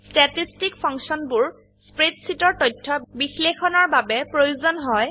Statisticফাংশনবোৰ spreadsheet এৰ তথ্য বিশ্লেষণৰ বাবে প্ৰয়োজন হয়